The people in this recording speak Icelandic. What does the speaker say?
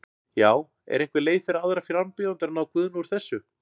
Já, er einhver leið fyrir aðra frambjóðendur að ná Guðna úr þessu?